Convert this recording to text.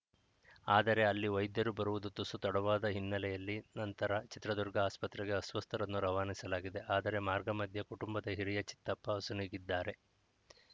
ಆದರೆ ಅಲ್ಲಿ ವೈದ್ಯರು ಬರುವುದು ತುಸು ತಡವಾದ ಹಿನ್ನೆಲೆಯಲ್ಲಿ ನಂತರ ಚಿತ್ರದುರ್ಗ ಆಸ್ಪತ್ರೆಗೆ ಅಸ್ವಸ್ಥರನ್ನು ರವಾನಿಸಲಾಗಿದೆ ಆದರೆ ಮಾರ್ಗ ಮಧ್ಯೆ ಕುಟುಂಬದ ಹಿರಿಯ ಚಿತ್ತಪ್ಪ ಅಸುನೀಗಿದ್ದಾರೆ